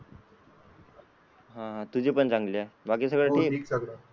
हा तुझ्या पण चांगल्या बाकी सगळं ठीक?